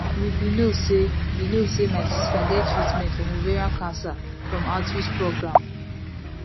you be no say be no say my sister get treatment from ovarian cancer from outreach program